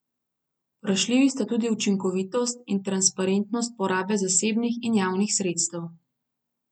Vprašljivi sta tudi učinkovitost in transparentnost porabe zasebnih in javnih sredstev.